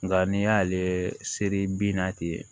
Nka n'i y'ale seri bin na ten